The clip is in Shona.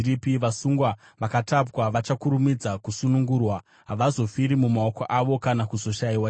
Vasungwa vakatapwa vachakurumidza kusunungurwa; havazofiri mumakomba avo, kana kuzoshayiwa chingwa.